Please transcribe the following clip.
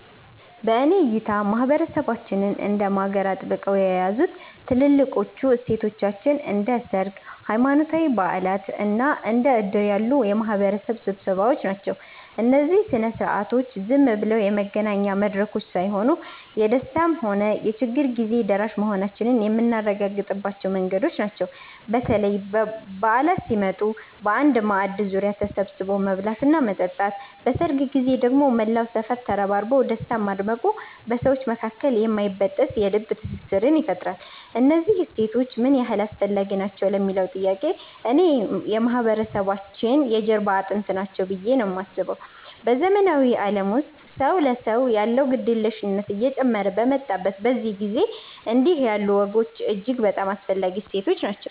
በእኔ እይታ ማህበረሰባችንን እንደ ማገር አጥብቀው የያዙት ትልልቆቹ እሴቶቻችን እንደ ሰርግ፣ ሃይማኖታዊ በዓላት እና እንደ ዕድር ያሉ የማህበረሰብ ስብሰባዎች ናቸው። እነዚህ ሥነ ሥርዓቶች ዝም ብለው የመገናኛ መድረኮች ሳይሆኑ፣ የደስታም ሆነ የችግር ጊዜ ደራሽ መሆናችንን የምናረጋግጥባቸው መንገዶች ናቸው። በተለይ በዓላት ሲመጡ በአንድ ማዕድ ዙሪያ ተሰብስቦ መብላትና መጠጣት፣ በሰርግ ጊዜ ደግሞ መላው ሰፈር ተረባርቦ ደስታን ማድመቁ በሰዎች መካከል የማይበጠስ የልብ ትስስር ይፈጥራል። እነዚህ እሴቶች ምን ያህል አስፈላጊ ናቸው ለሚለዉ ጥያቄ፣ እኔ የማህበረሰባችን የጀርባ አጥንት ናቸው ብዬ ነው የማስበው። በዘመናዊው ዓለም ውስጥ ሰው ለሰው ያለው ግድየለሽነት እየጨመረ በመጣበት በዚህ ጊዜ፣ እንዲህ ያሉ ወጎች እጅግ በጣም አስፈላጊ እሴቶች ናቸው።